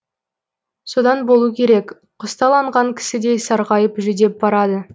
содан болу керек құсталанған кісідей сарғайып жүдеп барады